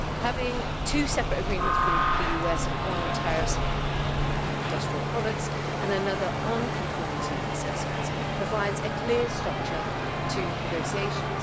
Having two separate agreements with the US one on tariffs on industrial products and another on conformity assessments provides a clear structure to negotiations.